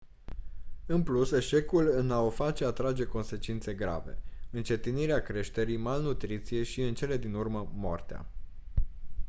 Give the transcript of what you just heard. în plus eșecul în a o face atrage consecințe grave încetinirea creșterii malnutriție și în cele din urmă moartea